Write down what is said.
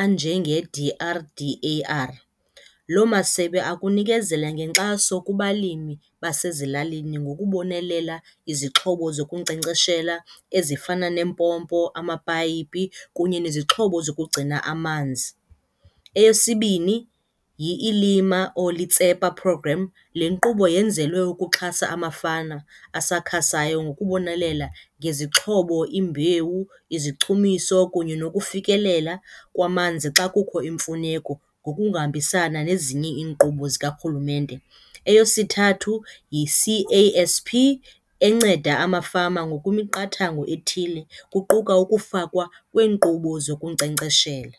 anje nge-D_R_D_A_R. Loo masebe akunikezela ngenkxaso kubalimi basezilalini ngokubonelela izixhobo zokunkcenkceshela ezifana nempompo, amapayipi kunye nezixhobo zokugcina amanzi. Eyesibini, yi-Elima or Letsepa Program, le nkqubo yenzelwe ukuxhasa amafama asakhasayo ngokubonelela ngezixhobo, imbewu, izichumiso kunye nokufikelela kwamanzi xa kukho imfuneko ngokuhambisana nezinye iinkqubo zikarhurumente. Eyesithathu, yi-C_A_S_P enceda amafama ngokwemiqathango ethile kuquka ukufakwa kweenkqubo zokunkcenkceshela.